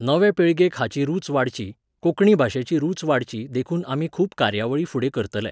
नवे पिळगेक हाची रुच वाडची, कोंकणी भाशेची रुच वाडची देखून आमी खूब कार्यावळी फुडें करतले.